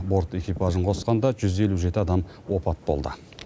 борт экипажын қосқанда жүз елу жеті адам опат болды